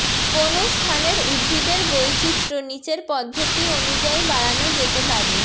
কোনো স্থানের উদ্ভিদের বৈচিত্র্য নীচের পদ্ধতি অনুযায়ী বাড়ানো যেতে পারেঃ